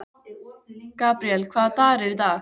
Gabríel, hvaða dagur er í dag?